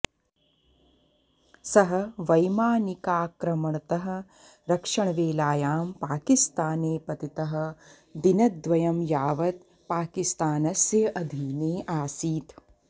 सः वैमानिकाक्रमणतः रक्षणवेलायां पाकिस्ताने पतितः दिनद्वयं यावत् पाकिस्तानस्य अधीने आसीत्